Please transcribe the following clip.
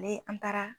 Ale an taara